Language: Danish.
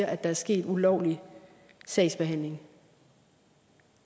at der er sket en ulovlig sagsbehandling